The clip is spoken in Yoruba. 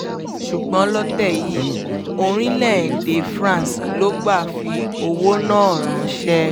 ṣùgbọ́n lọ́tẹ̀ yìí orílẹ̀‐èdè france ló gbà fi owó náà ránṣẹ́